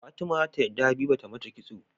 Fatima zata yadda habiba tamata kitso